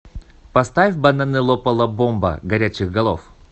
поставь бананылопалабомба горячих голов